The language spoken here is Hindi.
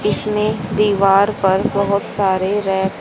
इसमे दीवार पर बहोत सारे रैक --